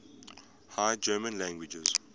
high german languages